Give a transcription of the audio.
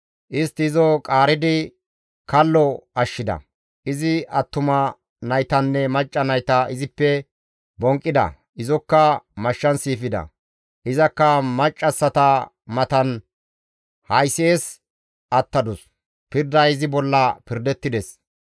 Istti izo qaaridi kallo ashshida; izi attuma naytanne macca nayta izippe bonqqida; izokka mashshan siifida; izakka maccassata matan haysi7es attadus; pirday izi bolla pirdettides.